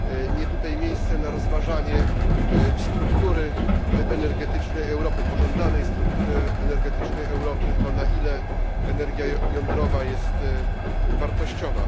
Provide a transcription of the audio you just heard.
Nie tutaj miejsce na rozważanie struktury energetycznej Europy, pożądanej struktury energetycznej Europy, na ile energia jądrowa jest wartościowa.